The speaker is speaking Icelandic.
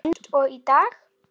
Eins og í dag.